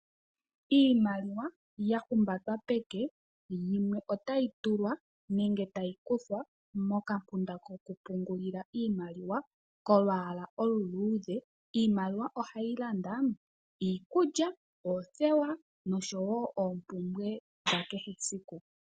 Iimaliwa ya humbatwa peke, yimwe otayi tulwa nenge tayi kuthwa momampunda kokupungulila iimaliwa kolwaala oluluudhe. Iimaliwa ohayi landa iikulya, oothewa nosho wo oompumbwe dha kehe esiku.